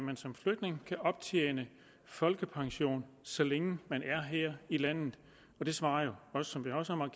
man som flygtning kan optjene folkepension så længe man er her i landet det svarer jo som